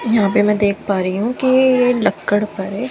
यहां पे मैं देख पा रही हूं कि ये लक्कड़ परे --